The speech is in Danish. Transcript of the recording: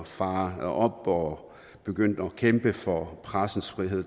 fare op og begynde at kæmpe for pressens frihed